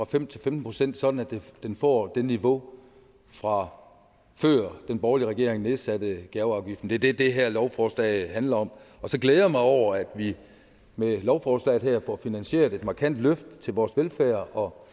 femten procent sådan at den får det niveau fra før den borgerlige regering nedsatte gaveafgiften det er det det her lovforslag handler om og så glæder jeg mig over at vi med lovforslaget her får finansieret et markant løft til vores velfærd og